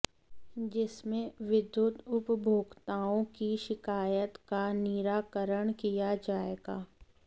जिसमें विद्युत उपभोक्ताओं की शिकायत का निराकरण किया जाएगा